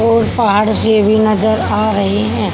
और पहाड़ से भी नजर आ रही हैं।